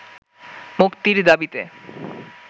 মুক্তির দাবিতে